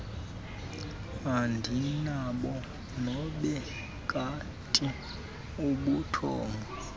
andinabo nobekati ubuthongo